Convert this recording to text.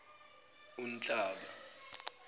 unhlaba